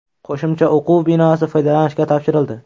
Qo‘shimcha o‘quv binosi foydalanishga topshirildi.